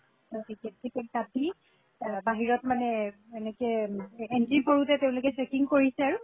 ত ticket ticket কাটি এহ বাহিৰত মানে এনেকে entry কৰোতে তেওঁলোকে checking কৰিছে আৰু